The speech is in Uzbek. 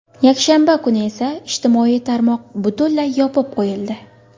Yakshanba kuni esa ijtimoiy tarmoq butunlay yopib qo‘yildi.